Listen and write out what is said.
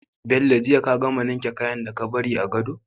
Bello jiya ka gama ninke kayan ka da ka bari a gado?